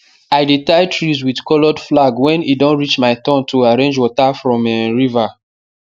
i dey tie trees with coloured flag when e don reach my turn to arrange water from um river